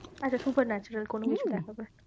আচ্ছা super natural কোনো কিছু দেখা যায়।